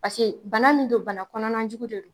Paseke bana min don bana kɔnɔna jugu de don